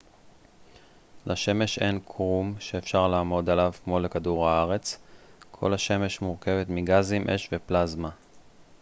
לשמש אין קרום שאפשר לעמוד עליו כמו לכדור הארץ כל השמש מורכבת מגזים אש ופלזמה